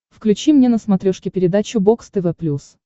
включи мне на смотрешке передачу бокс тв плюс